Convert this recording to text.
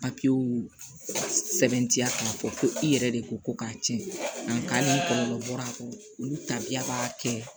papiyew sɛbɛntiya k'a fɔ ko i yɛrɛ de ko ko k'a tiɲɛ nka hali ni kɔlɔlɔ bɔra a kɔnɔ olu tabiya b'a kɛ